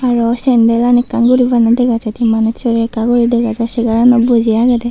aro sendalani ekkan guri bana dega jaidey manus so ra ekka guri dega jai day segaranot boji agedey.